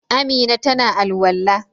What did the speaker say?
Amina ta na al'walla.